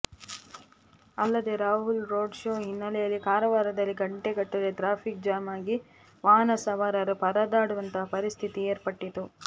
ಅಲ್ಲದೆ Rahul road show ಹಿನ್ನಲೆಯಲ್ಲಿ ಕಾರವಾರದಲ್ಲಿ ಗಂಟೆಗಟ್ಟಲೇ ಟ್ರಾಫಿಕ್ ಜಾಮ್ ಆಗಿ ವಾಹನ ಸವಾರರು ಪರದಾಡುವಂತಹ ಪರಿಸ್ಥಿತಿ ಏರ್ಪಟ್ಟಿತ್ತು